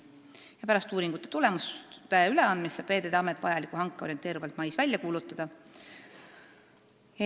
Pärast uuringute tulemuste üleandmist saab Veeteede Amet vajaliku hanke orienteerivalt mais välja kuulutada.